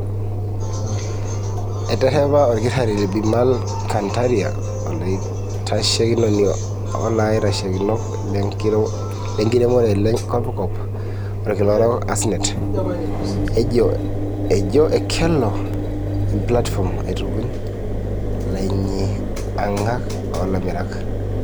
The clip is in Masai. Eterepa olkitari Bimal Kantaria, olaitashekinoni, oolaitashekinok le nkiremore le kopikop olkila orok (ASNET), ejoo ekeloo emplatifom aitupuny lainyiankak olamirak.